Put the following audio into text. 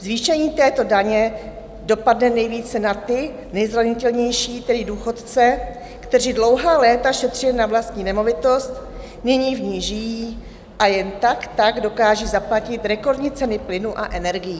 Zvýšení této daně dopadne nejvíce na ty nejzranitelnější, tedy důchodce, kteří dlouhá léta šetřili na vlastní nemovitost, nyní v ní žijí a jen tak tak dokážou zaplatit rekordní ceny plynu a energií.